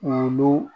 Olu